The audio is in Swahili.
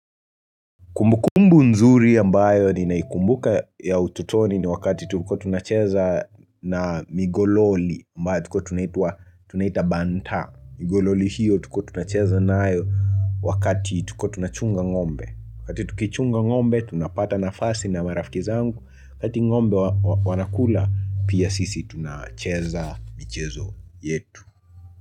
Kumbukumbu nzuri ambayo nina ikumbuka ya ututoni, ni wakati tulikuwa tunacheza na migololi ambayo tulikuwa tunaitwa tunaita banta. Migololi hiyo tulikuwa tunacheza nayo wakati tukiwa tunachunga ngombe, wakati tukichunga ngombe tunapata nafasi na marafki zangu wakati ngombe wanakula pia sisi tunacheza michezo yetu.